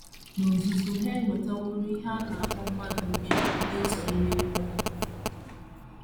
N’ozuzu, ha ewetaworo ihe a kpọrọ mmadụ mbibi n’ụzọ ime mmụọ..